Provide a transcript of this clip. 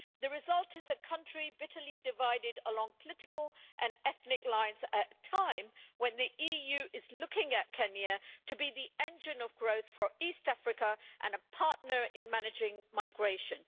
The result is a country bitterly divided along political and ethnic lines, at a time when the EU is looking at Kenya to be the engine of growth for East Africa and a partner in managing migration.